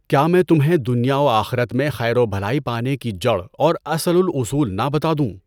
کیا میں تمہیں دنیا وآخرت میں خیر و بھلائی پانے کی جڑ اور اصلُ الأُصول نہ بتا دوں ؟